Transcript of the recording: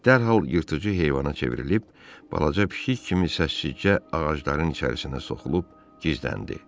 Dərhal yırtıcı heyvana çevrilib balaca pişik kimi səssizcə ağacların içərisinə soxulub gizləndi.